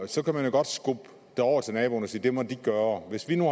så kan man jo godt skubbe det over til naboen og sige at det må de gøre hvis vi nu